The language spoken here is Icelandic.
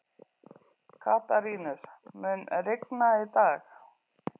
Katarínus, mun rigna í dag?